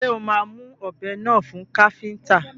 Ṣé o máa mú ọbẹ́ náà fún káfíntà?